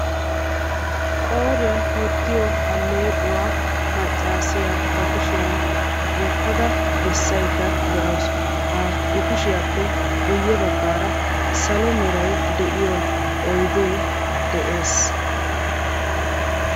Qooriyan wottiyoo alleequwa maccaasiya ba kushiyan wottada bessaydda de"awus. Ha I kushiyaappe guyye baggaara salo meray de"iyo oydee de'ees.